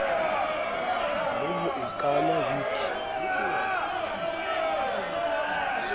le ho e kama wiki